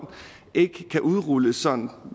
ikke kan udrulles som